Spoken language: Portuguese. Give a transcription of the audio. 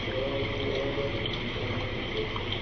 Então eu lembro eu lembro bastante disso, era bastante gostoso.